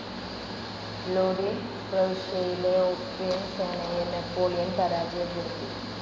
ലോഡി പ്രവിശ്യയിലെ ഓസ്ട്രിയൻ സേനയെ നാപ്പോളിയൻ പരാജയപ്പെടുത്തി.